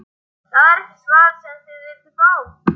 Það er ekki svarið sem þið vilduð fá.